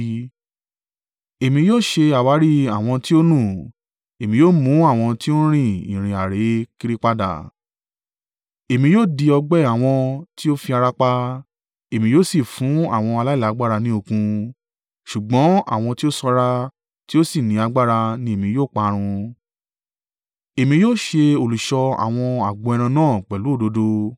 Èmi yóò ṣe àwárí àwọn tí ó nú, èmi yóò mú àwọn tí ó ń rin ìrìn àrè kiri padà. Èmi yóò di ọgbẹ́ àwọn tí ó fi ara pa, èmi yóò sì fún àwọn aláìlágbára ni okun, ṣùgbọ́n àwọn tí ó sanra tí ó sì ni agbára ní èmi yóò parun. Èmi yóò ṣe olùṣọ́ àwọn agbo ẹran náà pẹ̀lú òdodo.